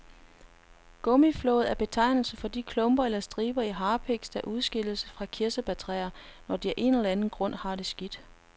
Gummiflåd er betegnelsen for de klumper eller striber af harpiks, der udskilles fra kirsebærtræer, når de af en eller anden grund har det skidt.